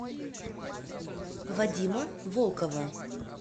вадима волкова